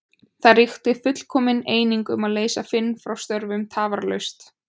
Það ríkti fullkomin eining um að leysa Finn frá störfum tafarlaust.